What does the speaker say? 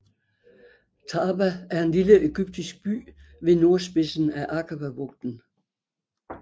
Taba er en lille egyptisk by ved nordspidsen af Akababugten